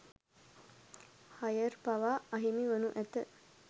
higher පවා අහිමි වනු ඇත